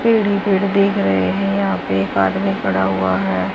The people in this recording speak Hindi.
पेड़ ही पेड़ दिख रहे हैं यहां पे एक आदमी खड़ा हुआ है।